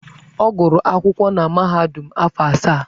Ọ gụrụ akwụkwọ na mahadum afọ asaa.